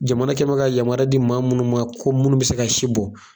Jamana kɛ bɛ ka yamaruya di maa munnu ma ko munnu be se ka si bɔ